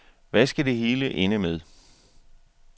Hvad skal det hele ende med?